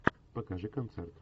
покажи концерт